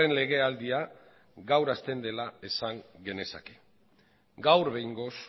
legealdia gaur hasten dela esan genezake gaur behingoz